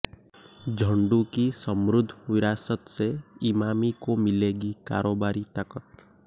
झंडु की समृद्घ विरासत से इमामी को मिलेगी कारोबारी ताकत